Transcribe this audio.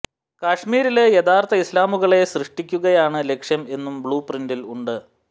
കശ്മീരില് യഥാര്ത്ഥ ഇസ്ലാമുകളെ സൃഷ്ടിക്കുകയാണ് ലക്ഷ്യം എന്നും ബ്ലൂ പ്രിന്റിൽ ഉണ്ട്